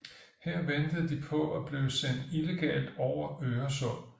Her ventede de på at blive sendt illegalt over Øresund